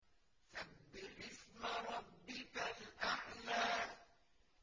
سَبِّحِ اسْمَ رَبِّكَ الْأَعْلَى